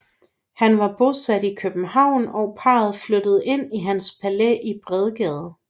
Han var bosat i København og parret flyttede ind i hans palæ i Bredgade